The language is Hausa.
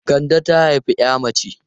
Kande ta haifi 'ya mace.